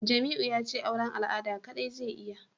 Jamiu yace auran al'ada kadai zai iya